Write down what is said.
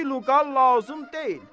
Qiru qall lazım deyil.